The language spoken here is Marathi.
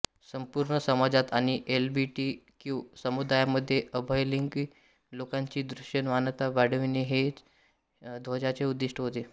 संपूर्ण समाजात आणि एलजीबीटीक्यू समुदायामध्ये उभयलिंगी लोकांची दृश्यमानता वाढविणे हेया ध्वजाचे उद्दीष्ट होते